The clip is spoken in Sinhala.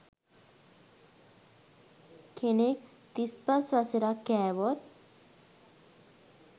කෙනෙක් තිස්පස් වසරක් කෑවොත්